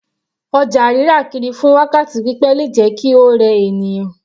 Ọjà rírà kiri fún wákàtí pípẹ́ le jẹ́ kí ó rẹ ènìyàn.